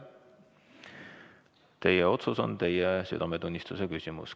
Teie otsus on teie südametunnistuse küsimus.